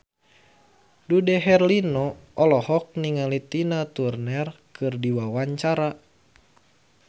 Dude Herlino olohok ningali Tina Turner keur diwawancara